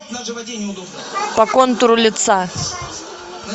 по контуру лица